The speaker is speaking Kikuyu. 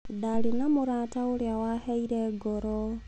Ndarĩ na mũrata ũrĩa waheire ngoro.